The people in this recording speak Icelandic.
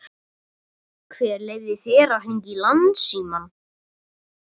Hver leyfði þér að hringja í Landsímann?